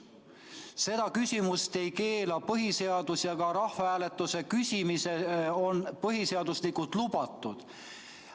Seda küsimust ei keela põhiseadus ja ka rahvahääletusel küsimine on põhiseaduslikult lubatud.